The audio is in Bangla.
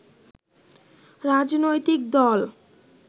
রাজনৈতিক দল